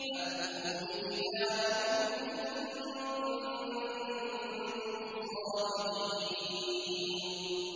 فَأْتُوا بِكِتَابِكُمْ إِن كُنتُمْ صَادِقِينَ